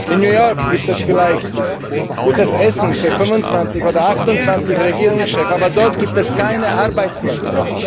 In New York gibt es vielleicht gutes Essen für 25 oder 28 Regierungschefs, aber dort gibt es keine Arbeitsplätze.